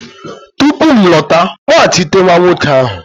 tupu m alọta, kpọghachite nwa nwoke ahụ!